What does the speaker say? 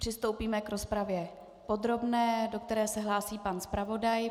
Přistoupíme k rozpravě podrobné, do které se hlásí pan zpravodaj.